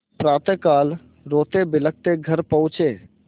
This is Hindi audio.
प्रातःकाल रोतेबिलखते घर पहुँचे